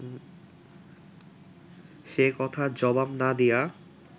সে-কথার জবাব না দিয়া